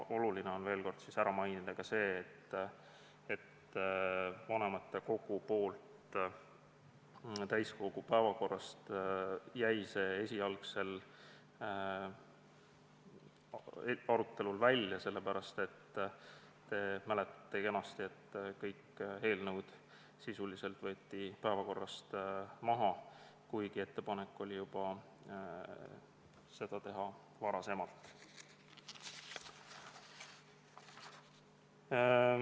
Oluline on veel kord ära mainida ka see, et vanematekogu jättis selle arutelu esialgu täiskogu päevakorrast välja sellepärast, et nagu te kenasti mäletate, võeti sisuliselt kõik eelnõud päevakorrast maha, kuigi ettepanek oli seda teha juba varem.